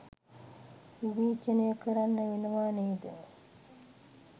විවේචනය කරන්න වෙනවා නේද